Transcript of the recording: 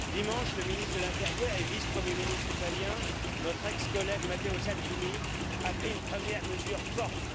Dimanche, le ministre de l'intérieur et vice Premier ministre italien, notre ex collègue Matteo Salvini, a pris une première mesure forte.